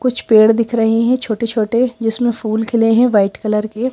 कुछ पेड़ दिख रहे हैंछोटे-छोटे जिसमें फूल खिले हैंवाइट कलर के--